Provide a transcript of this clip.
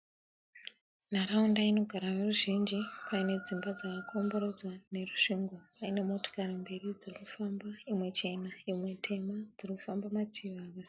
Nharaunda inogara veruzhinji paine dzimba dzakakomberedza nerusvingo, paine motokari mbiri dzirikufamba imwe chena imwe tema dzirikufamba mativi emugwagwa.